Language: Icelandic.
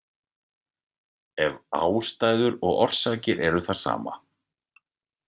Ef ástæður og orsakir eru það sama.